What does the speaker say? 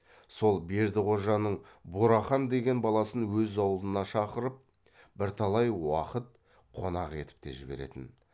сол бердіқожаның бурахан деген баласын өз аулына шақырып бірталай уақыт қонақ етіп те жіберетін